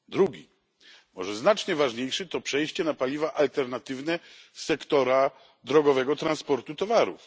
Drugi krok, może znacznie ważniejszy, to przejście na paliwa alternatywne sektora drogowego transportu towarów.